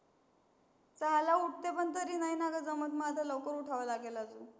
सहा ला उठते, पण तरी नाही ना ग, जमत माझ लवकर उठावं लागल अजून.